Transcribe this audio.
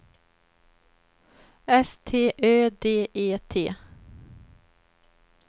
S T Ö D E T